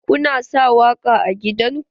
Kuna sa waƙa a gidan ku?